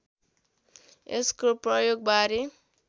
यसको प्रयोगबारे